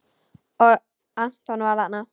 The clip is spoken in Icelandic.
Og Anton var þarna.